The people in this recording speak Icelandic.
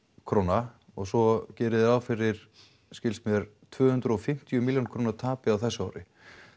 króna og svo gerið þið ráð fyrir skilst mér tvö hundruð og fimmtíu milljón króna tapi á þessu ári